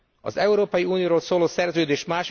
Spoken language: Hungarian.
Az Európai Unióról szóló szerződés